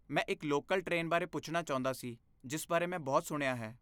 ਮੈਂ ਇੱਕ local train ਬਾਰੇ ਪੁੱਛਣਾ ਚਾਹੁੰਦਾ ਸੀ ਜਿਸ ਬਾਰੇ ਮੈਂ ਬਹੁਤ ਸੁਣਿਆ ਹੈ।